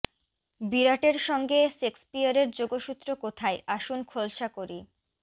বিরাটের সঙ্গে শেক্সপিয়রের যোগসূত্র কোথায় আসুন খোলসা করি